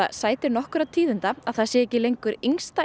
sætir tíðindum að það sé ekki lengur